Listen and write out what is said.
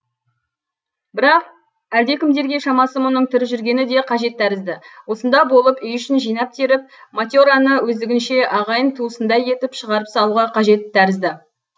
бірақ әлдекімдерге шамасы мұның тірі жүргені де қажет тәрізді осында болып үй ішін жинап теріп мате раны өздігінше ағайын туысындай етіп шығарып салуға қажет тәрізді